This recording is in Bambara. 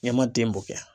Ɲɛma ten bɔn